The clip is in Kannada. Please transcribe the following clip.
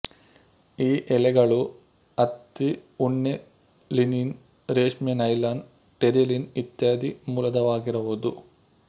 ಈ ಎಳೆಗಳು ಹತ್ತಿ ಉಣ್ಣೆ ಲಿನನ್ ರೇಷ್ಮೆ ನೈಲಾನ್ ಟೆರಿಲಿನ್ ಇತ್ಯಾದಿ ಮೂಲದವಾಗಿರಬಹುದು